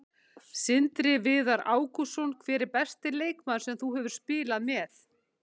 Sindri Viðar Ágústsson Hver er besti leikmaður sem þú hefur spilað með?